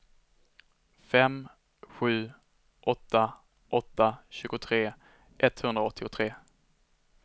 fem sju åtta åtta tjugotre etthundraåttiotre